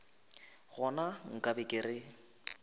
gona nka be ke re